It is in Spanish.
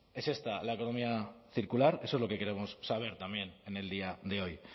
es esta la economía circular eso es lo que queremos saber también en el día de hoy